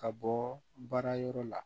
Ka bɔ baara yɔrɔ la